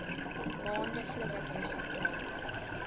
maande voordat resultate